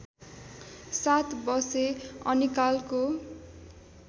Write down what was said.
सात वषे अनिकालको